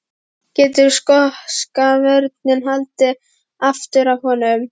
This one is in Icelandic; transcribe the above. Getur skoska vörnin haldið aftur af honum?